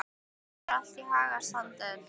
Gangi þér allt í haginn, Sandel.